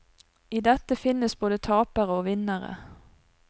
I dette finnes både tapere og vinnere.